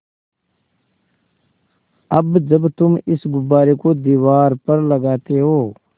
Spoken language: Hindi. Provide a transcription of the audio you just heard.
अब जब तुम इस गुब्बारे को दीवार पर लगाते हो